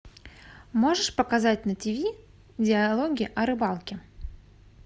можешь показать на тв диалоги о рыбалке